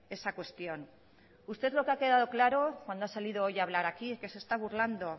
esa cuestión usted lo que ha quedado claro cuando ha salido hoy a hablar aquí es que se está burlando